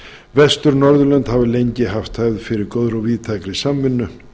vestur norðurlönd hafa lengi haft það fyrir góðri og víðtækri samvinnu